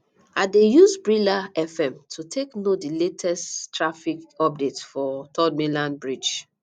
i dey use brila fm to take know di latest traffic updates for third mainland bridge